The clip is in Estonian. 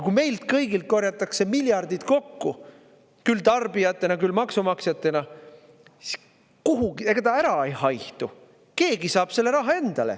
Kui meilt kõigilt korjatakse miljardid kokku – küll tarbijatelt, küll maksumaksjatelt –, siis ega see ära ei haihtu, keegi saab selle raha endale.